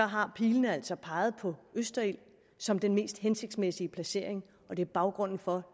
har pilen altså peget på østerild som den mest hensigtsmæssige placering og det er baggrunden for at